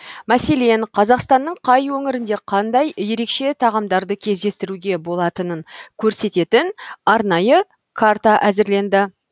мәселен қазақстанның қай өңірінде қандай ерекше тағамдарды кездестіруге болатынын көрсететін арнайы карта әзірленді